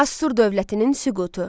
Asur dövlətinin süqutu.